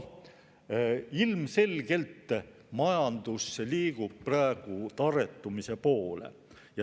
Ilmselgelt majandus liigub praegu tarretumise poole.